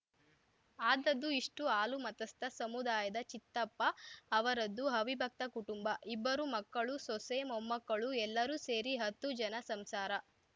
ಆದದ್ದು ಇಷ್ಟು ಹಾಲುಮತಸ್ಥ ಸಮುದಾಯದ ಚಿತ್ತಪ್ಪ ಅವರದು ಅವಿಭಕ್ತ ಕುಟುಂಬ ಇಬ್ಬರು ಮಕ್ಕಳು ಸೊಸೆ ಮೊಮ್ಮಮಕ್ಕಳು ಎಲ್ಲರೂ ಸೇರಿ ಹತ್ತು ಜನರ ಸಂಸಾರ